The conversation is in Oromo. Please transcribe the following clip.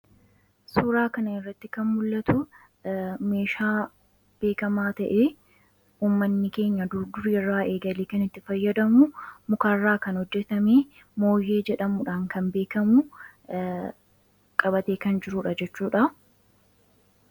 suuraa kana irratti kan mul'atu meeshaa beekamaa ta'e uummanni keenya durdur yerraa eegalee kan itti fayyadamu mukaarraa kan hojjetamee mooyyee jedhamudhaan kan beekamu qabatee kan jiruudha jechuudha